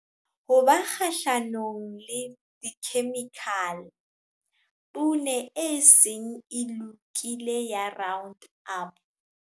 Ho ba kgahlanong le dikhemikhale, poone e seng e lokile ya round-up.